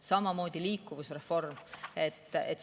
Samamoodi liikuvusreform.